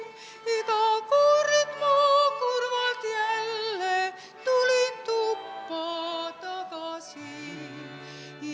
Iga kord ma kurvalt jälle tulin tuppa tagasi.